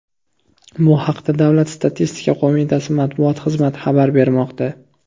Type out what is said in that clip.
Bu haqda Davlat statistika qo‘mitasi matbuot xizmati xabar bermoqda .